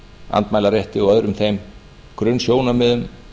andmælarétti og öðrum þeim grunnsjónarmiðum